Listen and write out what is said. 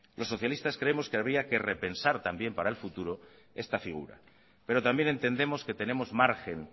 los socialistas creemos que habría que repensar también para el futuro esta figura pero también entendemos que tenemos margen